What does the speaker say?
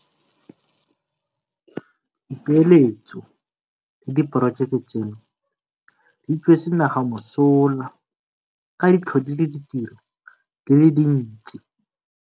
Dipeeletso le diporojeke tseno di tswetse naga mosola ka di tlhodile ditiro di le dintsi.